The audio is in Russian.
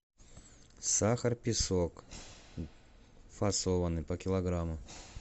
сахар песок фасованный по килограмму